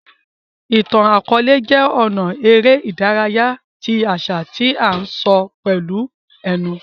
Ìtàn-àkọọlẹ jé ọnà eré ìdárayá ti àṣà tí a n sọ pẹlú ẹnu